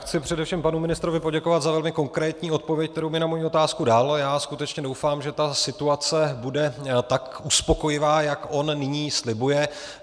Chci především panu ministrovi poděkovat za velmi konkrétní odpověď, kterou mi na moji otázku dal, a já skutečně doufám, že situace bude tak uspokojivá, jak on nyní slibuje.